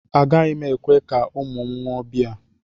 Agaghị m ekwe ka ụmụ m ṅụọ biya